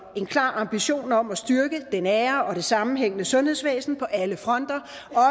en klar ambition om at styrke det nære og det sammenhængende sundhedsvæsen på alle fronter